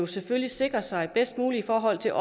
selvfølgelig sikrer sig bedst muligt i forhold til